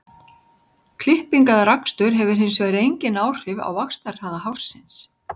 klipping eða rakstur hefur hins vegar engin áhrif á vaxtarhraða hársins